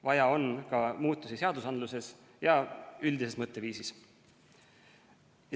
Vaja on ka muutusi seadustes ja üldises mõtteviisis.